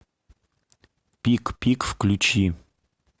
пик пик включи